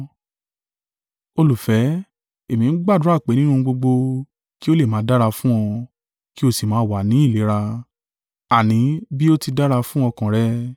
Olùfẹ́, èmi ń gbàdúrà pé nínú ohun gbogbo kí o lè máa dára fún ọ, kí o sì máa wà ni ìlera, àní bí o tí dára fún ọkàn rẹ.